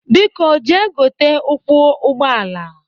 Biko jee gote ụkwụ ụgbọala!